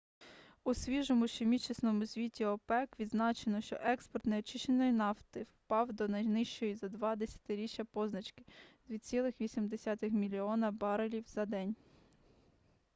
у свіжому щомісячному звіті опек відзначено що експорт неочищеної нафти впав до найнижчої за два десятиріччя позначки - 2,8 мільйона барелів на день